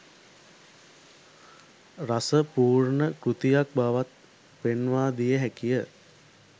රස පූර්ණ කෘතියක් බවත් පෙන්වාදිය හැකිය